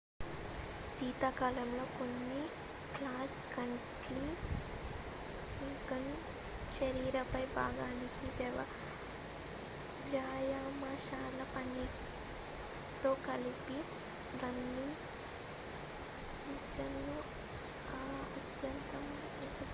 శీతాకాలంలో కొన్ని cross country running శరీర పై భాగానికి వ్యాయామశాల పనితో కలిపి రన్నింగ్ సీజన్ కు అత్యుత్తమ ప్రిపరేషన్